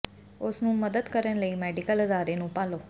ਉਸ ਨੂੰ ਮਦਦ ਕਰਨ ਲਈ ਮੈਡੀਕਲ ਅਦਾਰੇ ਨੂੰ ਭਾਲੋ